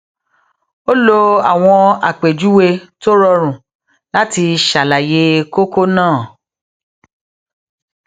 ó lo àwọn àpèjúwe tó rọrùn láti ṣàlàyé kókó náà